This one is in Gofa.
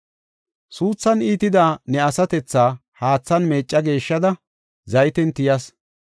“Suuthan iitida ne asatethaa haathan meecca geeshshada, zayten tiyas.